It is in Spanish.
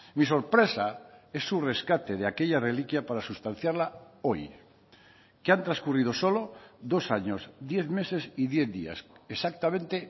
mi sorpresa es su rescate de aquella reliquia para sustanciarla hoy que han transcurrido solo dos años diez meses y diez días exactamente